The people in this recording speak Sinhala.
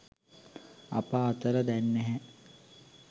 අප අතර දැන් නැහැ